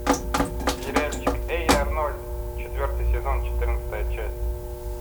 сериальчик эй арнольд четвертый сезон четырнадцатая часть